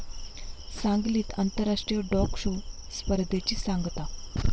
सांगलीत आंतराष्ट्रीय dog show स्पर्धेची सांगता